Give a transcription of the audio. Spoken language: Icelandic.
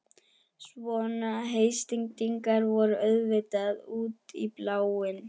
Svona heitstrengingar voru auðvitað út í bláinn.